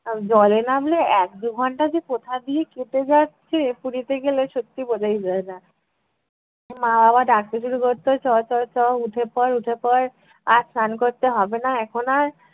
জলে নামলে এক-দু ঘন্টা যে কোথা দিয়ে কেটে যাচ্ছে পুরীতে গেলে সত্যি বোঝাই যায় না। মা বাবা ডাকতে শুরু করত চল চল চল উঠে পড় উঠে পড় আর স্নান করতে হবে না এখন আর